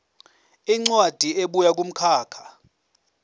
incwadi ebuya kumkhakha